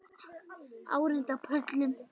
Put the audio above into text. Margir á áheyrendapöllum